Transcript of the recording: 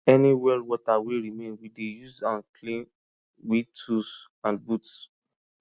any well water wey remain we dey use am clean we tools and boots